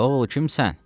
Oğul, kimsən?